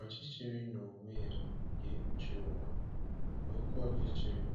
Ọchịchịrị n’onwe ya ga-ekpuchi ụwa, na oke ọchịchịrị